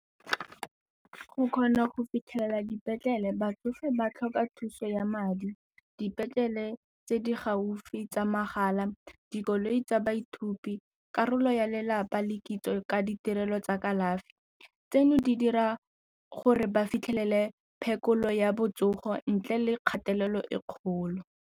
Go kgona go fitlhelela dipetlele batsofe ba tlhoka thuso ya madi, dipetlele tse di gaufi tsa mahala, dikoloi tsa baithuti, karolo ya lelapa le kitso ka ditirelo tsa kalafi. Tseno di dira gore ba fitlhelele phekolo ya botsogo ntle le kgatelelo e kgolo.